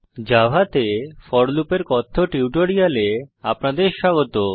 জাভাতে for loop এর কথ্য টিউটোরিয়ালে আপনাদের স্বাগত